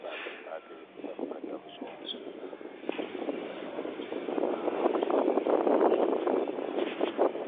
paaki paaki panpa tabi zuɣu ka niɛma gba tam dizuɣu